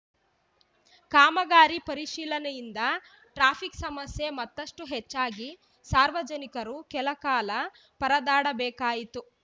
ಕಾಮಗಾರಿ ಪರಿಶೀಲನೆಯಿಂದ ಟ್ರಾಫಿಕ್‌ ಸಮಸ್ಯೆ ಮತ್ತಷ್ಟುಹೆಚ್ಚಾಗಿ ಸಾರ್ವಜನಿಕರು ಕೆಲ ಕಾಲ ಪರದಾಟಬೇಕಾಯಿತು